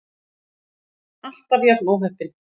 Alltaf jafn óheppin!